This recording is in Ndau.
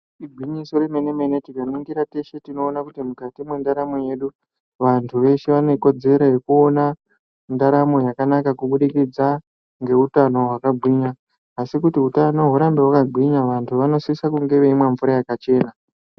Igwinyiso remene-mene, tikaningisa tinoona kuti mukati mwendaramo yedu vantu veshe vanekodzero yekuona ndaramo yakanaka, kubudikidza ngeutano hwakagwinya. Asi kuti utano hurambe hwakagwinya, vantu vanosisa kunge veimwa mvura yakachena.